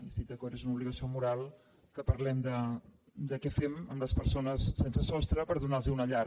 i hi estic d’acord és una obligació moral que parlem de què fem amb les persones sense sostre per donar los una llar